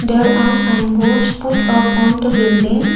there are sign boards put up on the building.